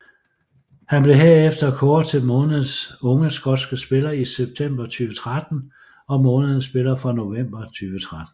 Han blev herefter kåret til månedens unge skotske spiller i september 2013 og månedens spiller for november 2013